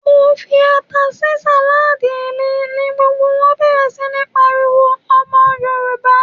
Mo fi ata sí sàládì mi, ni gbogbo wón bẹ̀rẹ̀ sí ń pariwo "Ọmọ Yorùbá."